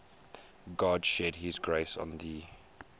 god shed his grace on thee